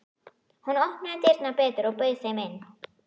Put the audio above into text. Hún opnaði dyrnar betur og bauð þeim inn.